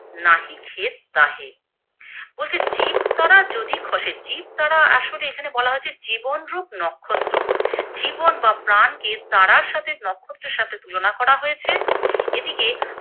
নাহি খেদ তাহে, বলছে জীব তারা যদি খসে জীব তারা আসলে এখানে বলা হয়েছে জীবন রূপ নক্ষত্র, জীবন বা প্রাণ কে তারার সাথে নক্ষত্রের সাথে তুলনা করা হয়েছে। এদিকে